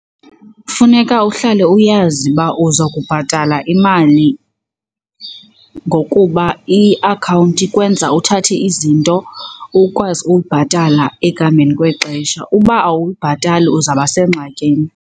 Funeka uhlale uyazi uba uza kubhatala imali ngokuba iakhawunti ikwenza uthathe izinto ukwazi ubhatala ekuhambeni kwexesha. Uba awuyibhatali uzawuba sengxakini.